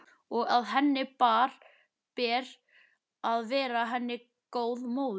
Og að henni ber að vera henni góð móðir.